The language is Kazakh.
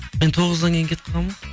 мен тоғыздан кейін кетіп қалғанмын ғой